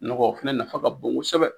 Nɔgɔ o fɛnɛ nafa ka bon kosɛbɛ.